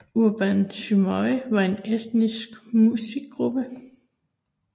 Urban Symphony er en estisk musik gruppe